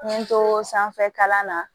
N ye n to sanfɛ kalan na